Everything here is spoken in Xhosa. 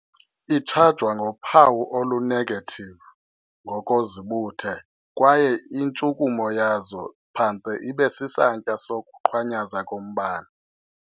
Itshajwa ngophawu olu-negative ngokozibuthe, kwaye intshukumo yazo phantse ibe sisantya sokuqhwanyaza kombane.